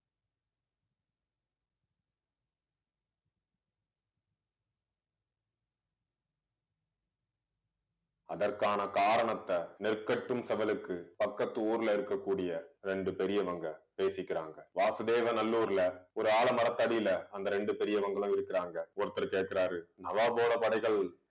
அதற்கான காரணத்தை நெற்கட்டும் செவ்வலுக்கு பக்கத்து ஊர்ல இருக்கக்கூடிய ரெண்டு பெரியவங்க பேசிக்கிறாங்க. வாசுதேவநல்லூர்ல ஒரு ஆலமரத்தடியில அந்த ரெண்டு பெரியவங்களும் இருக்கிறாங்க ஒருத்தர் கேக்குறாரு நவாப் போட படைகள்